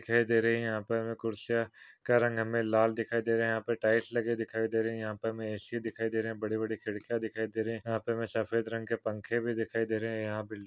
दिखाई दे रही है यहा पर अ कुर्सीया का रंग हमे लाल दिखाई दे रहे है यहा पर टाइल्स लगी हुई दिखाई दे रही है यहा पर हमे ए.सी. दिखाई दे रहे है बड़े बड़े खिड़किया दिखाई दे रहे है यहा पर हमे सफेद रंग के पंखे भी दिखाई दे रहे है यहा बिल--